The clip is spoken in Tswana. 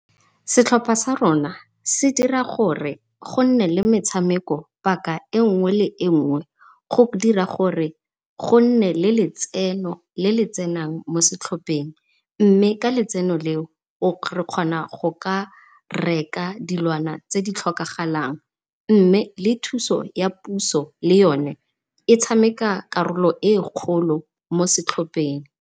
Setlhopha sa rona se dira gore gonne le metshameko paka e nngwe le e nngwe go dira gore gonne le letseno le le tsenang mo setlhopheng, mme ka letseno leo re kgona go ka reka dilwana tse di tlhokagalang. Mme le thuso ya puso le yone e tshameka karolo e kgolo mo setlhopheng.